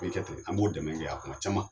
Kɛ ten an b'o dɛmɛ kɛ a kɔnɔ caman